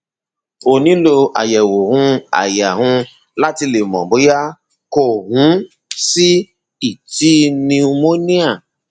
o nílò àyẹwò um àyà um láti le mọ bóyá kò um sí lrti pneumonia